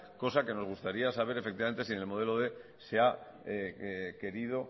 cosa que nos gustaría saber efectivamente si en el modelo quinientos se ha querido